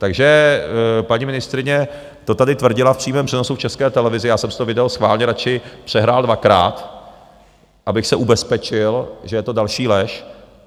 Takže paní ministryně to tady tvrdila v přímém přenosu v České televizi, já jsem si to video schválně radši přehrál dvakrát, abych se ubezpečil, že je to další lež.